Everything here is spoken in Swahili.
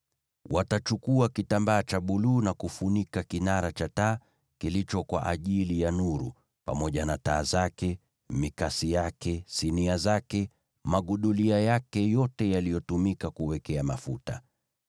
“Watachukua kitambaa cha buluu na kufunika kinara cha taa kilicho kwa ajili ya nuru, pamoja na taa zake, mikasi yake, sinia zake, magudulia yake yote yaliyotumika kuwekea mafuta.